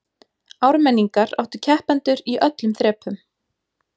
Ármenningar áttu keppendur í öllum þrepum